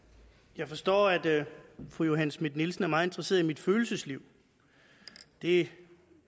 jeg forstår at fru johanne schmidt nielsen er meget interesseret i mit følelsesliv det